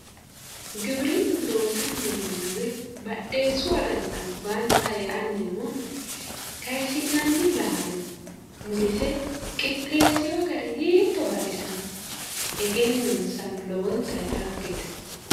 Giwirinnu loosanni noonnna woy badheessu agani albaanni xa e"anni noona kayiisi'nanni laalo murise qixxessewo gari hiitto baxisanno egennonsano lowontayi dhaggete.